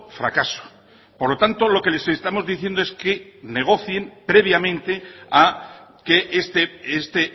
fracaso por lo tanto lo que les estamos diciendo es que negocien previamente a que este